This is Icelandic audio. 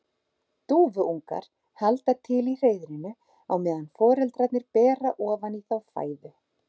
Dúfuungar halda til í hreiðrinu á meðan foreldrarnir bera ofan í þá fæðu.